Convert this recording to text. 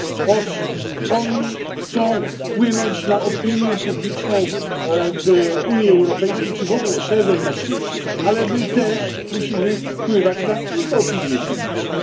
Owszem, oni chcą wpłynąć na opinię publiczną w Unii Europejskiej, czy w ogóle szerzej na świecie, ale my też musimy wpływać na ich opinię publiczną.